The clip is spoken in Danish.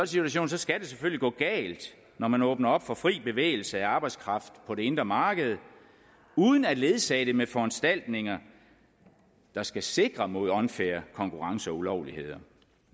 situation skal det selvfølgelig gå galt når man åbner op for fri bevægelse af arbejdskraft på det indre marked uden at ledsage det med foranstaltninger der skal sikre mod unfair konkurrence og ulovligheder